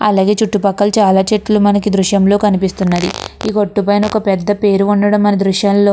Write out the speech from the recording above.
అలాగే చుట్టూ పక్కల చాలా చెట్టులు మనకి ఈ దృశ్యం లో కనిపిస్తున్నాయి. ఈ బోర్డు పైన పెద్ద పేరు ఉండటం మనం ఈ దృశ్యం లో --